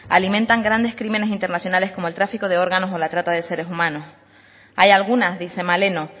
alimentan grandes crímenes internacionales como el tráfico de órganos o la trata de seres humanos hay algunas dice maleno